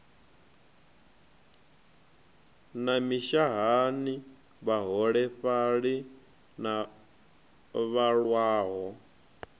na mishahani vhaholefhali na vhalwaho